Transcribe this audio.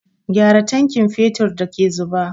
Gyara tankin fetur da ke zuba!